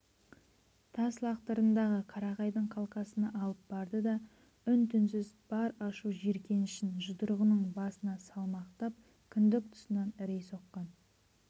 тас лақтырымдағы қарағайдың қалқасына алып барды да үн-түнсіз бар ашу-жиркенішін жұдырығының басына салмақтап кіндік тұсынан ірей соққан